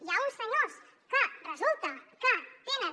hi ha uns senyors que resulta que tenen